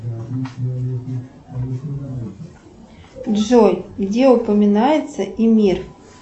джой где упоминается эмир